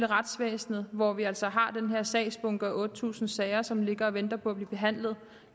retsvæsenet hvor vi altså har den her sagsbunke med otte tusind sager som ligger og venter på at blive behandlet